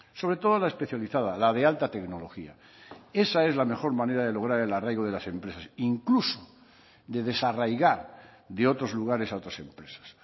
sobre todo la especializada la de alta tecnología esa es la mejor manera de lograr el arraigo de las empresas incluso de desarraigar de otros lugares a otras empresas